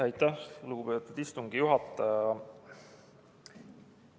Aitäh, lugupeetud istungi juhataja!